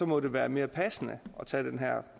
må det være mere passende at tage den her